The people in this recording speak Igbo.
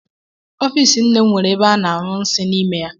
Ofiisi nne m nwere ebe a na-anyụ nsị n'ime ya